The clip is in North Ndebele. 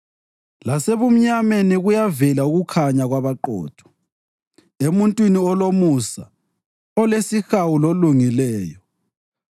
Lasebumnyameni kuyavela ukukhanya kwabaqotho, emuntwini olomusa, olesihawu lolungileyo.